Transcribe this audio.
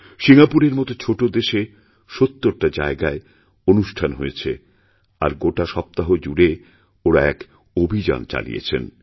সিঙ্গাপুরের মত ছোটদেশে সত্তরটা জায়গায় অনুষ্ঠান হয়েছে আর গোটা সপ্তাহ জুড়ে ওঁরা এক অভিযানচালিয়েছেন